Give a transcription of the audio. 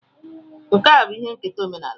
Nkà bụ ihe nketa omenala